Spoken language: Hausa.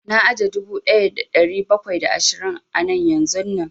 Na aje dubu ɗaya da ɗari bakwai da ashirin a nan yanzun nan